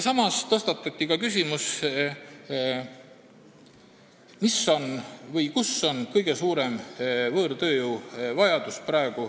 Samas tõstatati küsimus, kus on Eesti ühiskonnas praegu kõige suurem võõrtööjõuvajadus.